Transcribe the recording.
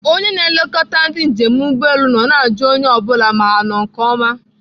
Onye na-elekọta ndị njem ụgbọelu nọ na-ajụ onye ọ bụla ma ha nọ nke oma